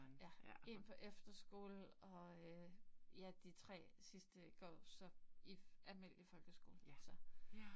Ja, 1 på efterskole og øh ja de 3 sidste, går så i almindelig folkeskole. Så